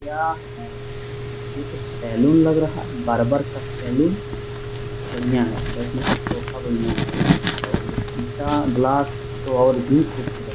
क्या है ? ये तो सैलून लग रहा है बार्बर का सैलून । बढ़िया है बैठने का सोफा बढ़िया है और ये शीशा ग्लास तो और भी खूबसूरत --